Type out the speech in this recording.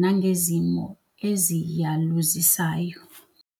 nangezimo eziyaluzisayo.